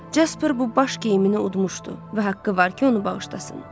Jaspar bu baş geyimini udmuşdu və haqqı var ki, onu bağışlasın.